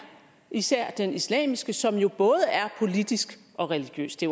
især den islamiske som jo både er politisk og religiøs det